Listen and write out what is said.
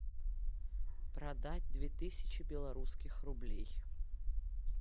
продать две тысячи белорусских рублей